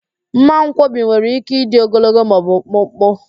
Mmankwọbi nwere ike ịdị ogologo ma o bụ mkpụmkpụ